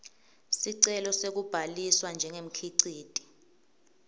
sicelo sekubhaliswa njengemkhiciti